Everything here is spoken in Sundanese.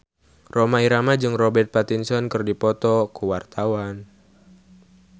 Rhoma Irama jeung Robert Pattinson keur dipoto ku wartawan